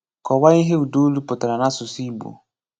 Kọ̀wáa íhè ụ̀dàólù pụ̀tàrà n'àsụ̀sụ̀ Ìgbò.